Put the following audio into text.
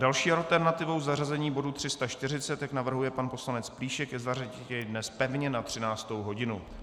Další alternativou zařazení bodu 340, jak navrhuje pan poslanec Plíšek, je zařadit jej dnes pevně na 13. hodinu.